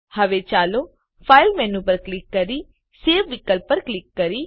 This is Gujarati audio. હવે ચાલો ફાઈલ મેનુ પર ક્લિક કરી સવે વિકલ્પ પર ક્લિક કરીએ